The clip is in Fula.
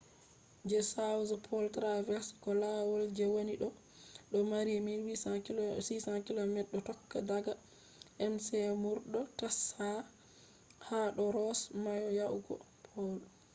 je south pole traverse ko lawal je wani dodo mari 1600 km do tokka daga mcmurdo tasha ha do ross mayo yahugo pole